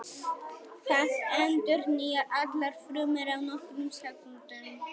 Það endurnýjar allar frumur á nokkrum sekúndum.